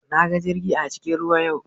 Na ga jirgi a cikin ruwa yau.